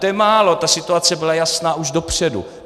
To je málo, ta situace byla jasná už dopředu.